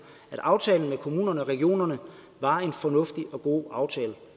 at aftalen med kommunerne og regionerne var en fornuftig og god aftale